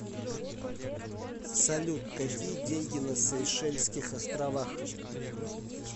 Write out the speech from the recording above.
салют какие деньги на сейшельских островах